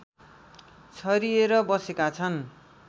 छरिएर बसेका छन्